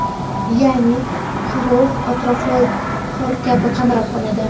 Ya’ni qirov atrofni qor kabi qamrab oladi.